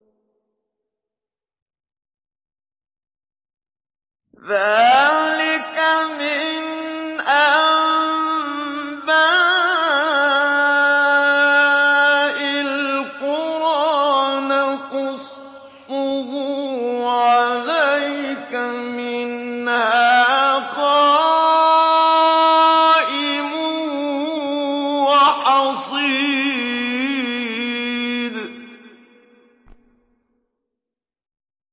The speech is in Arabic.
ذَٰلِكَ مِنْ أَنبَاءِ الْقُرَىٰ نَقُصُّهُ عَلَيْكَ ۖ مِنْهَا قَائِمٌ وَحَصِيدٌ